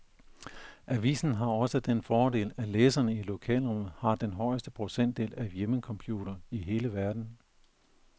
Avisen har også den fordel, at læserne i lokalområdet har den højeste procentdel af hjemmecomputere i hele verden.